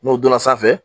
N'o donna sanfɛ